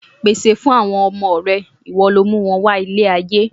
Pèsè fún àwọn ọmọ rẹ, ìwọ lọ mú wọn wá ilé ayé.